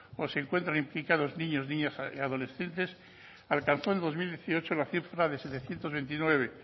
o se encuentran implicados niños niñas y adolescentes alcanzó en dos mil dieciocho la cifra de setecientos veintinueve